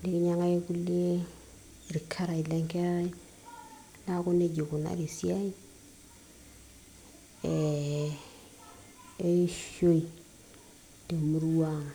nikinyiang'aki irkulie irkarash lenkerai naaku nejia ikunari esiai eh, eishoi temurua ang.